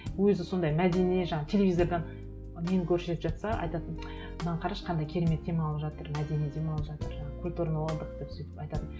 өзі сондай мәдени жаңағы телевизордан нені көрсетіп жатса айтатын мынаны қарашы қандай керемет демалып жатыр мәдени демалып жатыр жаңағы культурный отдых деп сөйтіп айтатын